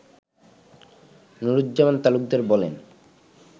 নুরুজ্জামান তালুকদার বলেন